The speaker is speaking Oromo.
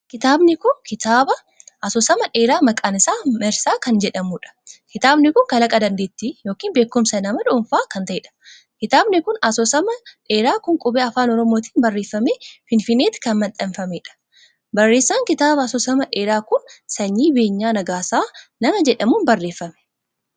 Kitaabni kun kitaaba asoosama dheeraa maqaan isaa marsaa kan jedhamuudha. kitaabni kun kalaqa dandeettii ykn beekumsa nama dhuunfaa kan ta`eedha. Kitaabni asoosama dheeraa kun qubee Afaan Oromootiin barreeffamee Finfinneetti kan maxxanfameedha. Barreessan kitaaba asoosama dheeraa kun Sanyii Beenyaa Nagaasaa nama jedhamuun barreeffame.